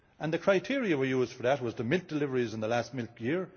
The criterion we used for that was the milk deliveries in the last milk year.